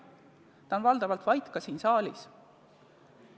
Ta on valdavalt vait olnud ka siin saalis.